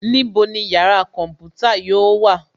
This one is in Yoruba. Níbo ni yàrá kọ̀ḿpútà yóò wà